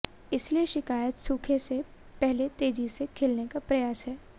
इसलिए शिकायत सूखे से पहले तेजी से खिलने का प्रयास है